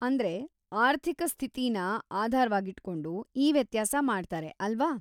ಅಂದ್ರೆ, ಆರ್ಥಿಕ ಸ್ಥಿತಿನ ಆಧಾರ್‌ವಾಗಿಟ್ಕೊಂಡು ಈ ವ್ಯತ್ಯಾಸ ಮಾಡ್ತಾರೆ ಅಲ್ವಾ?